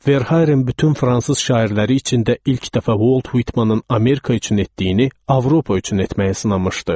Verharin bütün fransız şairləri içində ilk dəfə Volt Vitmanın Amerika üçün etdiyini Avropa üçün etməyə sınamışdı.